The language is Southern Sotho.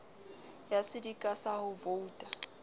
ya sedika sa ho voita